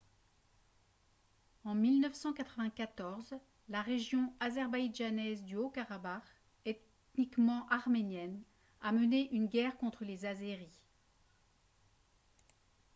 en 1994 la région azerbaïdjanaise du haut-karabakh ethniquement arménienne a mené une guerre contre les azéris